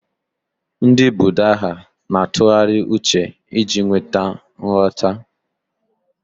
Ndị Buddha na-atụgharị uche iji nweta nghọta.